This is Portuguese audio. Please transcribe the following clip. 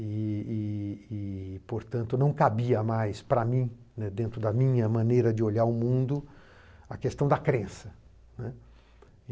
E e e, portanto, não cabia mais para mim, né, dentro da minha maneira de olhar o mundo, a questão da crença, né.